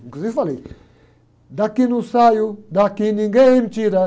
Inclusive falei, daqui não saio, daqui ninguém me tira.